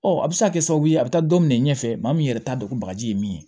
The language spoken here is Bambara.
Ɔ a bɛ se ka kɛ sababu ye a bɛ taa don minɛ ɲɛfɛ maa min yɛrɛ t'a dɔn ko bagaji ye min ye